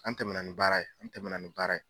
An tɛmɛnna ni baara ye an tɛmɛnna ni baara ye.